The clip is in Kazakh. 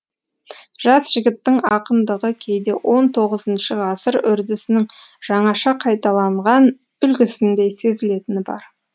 жас жігіттің ақындығы кейде он тоғызыншы ғасыр үрдісінің жаңаша қайталанған үлгісіндей сезілетіні бар